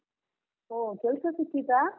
ಓ ಕೆಲ್ಸ ಸಿಕ್ಕಿತಾ?